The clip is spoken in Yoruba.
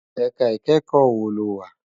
Èká ikèékò wó ló wá?